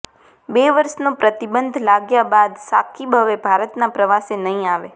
બે વર્ષનો પ્રતિબંધ લાગ્યા બાદ શાકિબ હવે ભારતના પ્રવાસે નહીં આવે